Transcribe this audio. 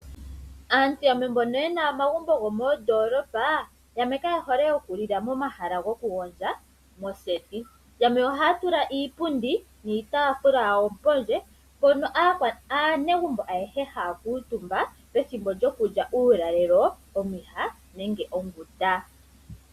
Aantu yamwe mbono ye na omagumbo gomoondoolopa yamwe kaye hole okulila momahala gokugondja, moseti. Yamwe ohaya tula iipundi niitaafula yawo pondje mpono aanegumbo ayehe haya kuutumba pethimbo lyokulya uulalelo, omwiha nenge onguta.